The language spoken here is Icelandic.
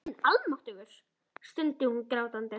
Guð minn almáttugur, stundi hún grátandi.